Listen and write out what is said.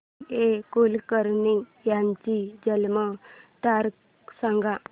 जी A Kulkarni यांची जन्म तारीख सांग